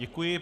Děkuji.